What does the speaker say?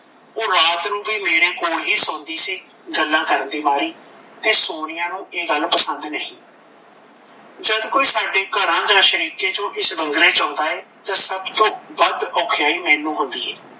ਓਹ ਰਾਤ ਨੂੰ ਵੀ ਮੇਰੇ ਕੋਲ ਹੀ ਸੌਂਦੀ ਸੀ ਗੱਲਾਂ ਕਰਨ ਦੇ ਮਾਰੀ ਤੇ ਸੋਨੀਆ ਨੂੰ ਇਹ ਗੱਲ ਪਸੰਦ ਨਹੀਂ। ਜਦ ਕੋਈ ਸਾਡੇ ਘਰਾਂ ਦਾ ਸ਼ਰੀਕੇ ਚੋਂ ਇਸ ਬੰਗਲੇ ਚ ਆਉਂਦਾ ਏ ਤਾਂ ਸਭ ਤੋਂ ਵੱਧ ਔਖਿਆਈ ਮੈਨੂੰ ਹੁੰਦੀ ਏ